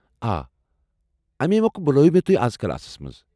آ، امے موکھہٕ بُلوو مےٚ اَز کلاسس منٛز۔